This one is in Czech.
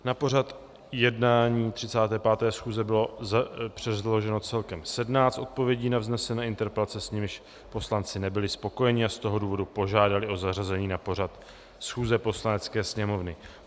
Na pořad jednání 35. schůze bylo předloženo celkem 17 odpovědí na vznesené interpelace, s nimiž poslanci nebyli spokojeni, a z toho důvodu požádali o zařazení na pořad schůze Poslanecké sněmovny.